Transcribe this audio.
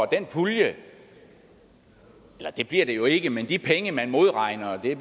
den pulje eller det bliver det jo ikke men de penge man modregner bliver